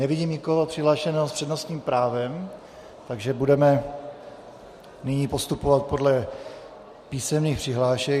Nevidím nikoho přihlášeného s přednostním právem, takže budeme nyní postupovat podle písemných přihlášek.